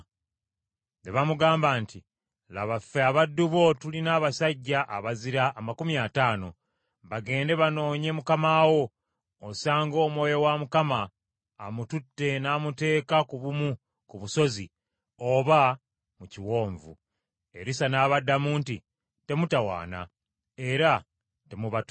Ne bamugamba nti, “Laba, ffe abaddu bo tulina abasajja abazira amakumi ataano. Bagende banoonye mukama wo, osanga Omwoyo wa Mukama amututte n’amuteeka ku bumu ku busozi oba mu kiwonvu.” Erisa n’abaddamu nti, “Temutawaana, era temubatuma.”